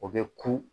O bɛ ku